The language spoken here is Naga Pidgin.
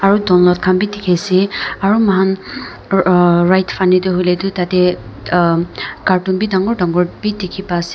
aru donlot khanbi dekhi ase aru makhan ah rightfanny te hoiley tu tate am cartoon bhi dangor dangor dekhi ase.